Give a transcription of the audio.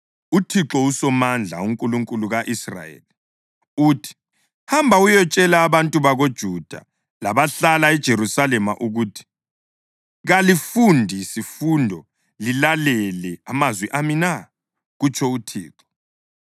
“ UThixo uSomandla, uNkulunkulu ka-Israyeli, uthi: Hamba uyetshela abantu bakoJuda labahlala eJerusalema ukuthi, ‘Kalifundi sifundo lilalele amazwi ami na?’ kutsho uThixo.